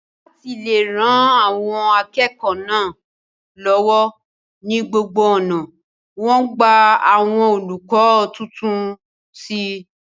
láti le ran àwọn akẹ́kọ̀ọ́ náà lọ́wọ́ ní gbogbo ọ̀nà, wọ́n gba àwọn olùkọ́ tuntun sí i